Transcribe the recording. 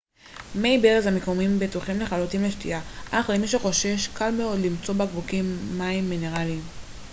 מי הברז המקומיים בטוחים לחלוטין לשתייה אך למי שחושש קל מאוד למצוא בקבוקים מים מינרלים